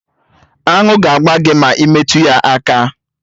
Aṅụ ga-agba gị ma ị metụ ya aka